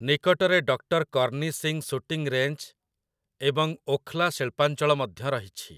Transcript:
ନିକଟରେ doctor Karni Singh shooting range ଏବଂ ଓଖ୍‌ଲା ଶିଳ୍ପାଞ୍ଚଳ ମଧ୍ୟ ରହିଛି ।